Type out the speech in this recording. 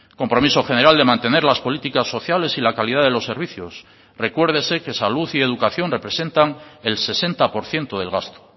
compromiso general de mantener las políticas sociales y la calidad de los servicios recuérdese que salud y educación representan el sesenta por ciento del gasto